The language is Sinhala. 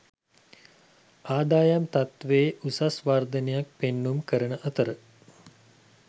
ආදායම් තත්ත්වයේ උසස් වර්ධනයක් පෙන්නුම් කරන අතර